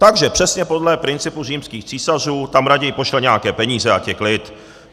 Takže přesně podle principu římských císařů tam raději pošle nějaké peníze, ať je klid.